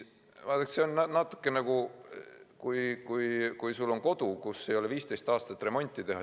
Vaadake, see meenutab natuke seda, kui sul on kodu, kus ei ole 15 aastat remonti tehtud.